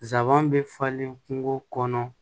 Zanban bɛ falen kungo kɔnɔ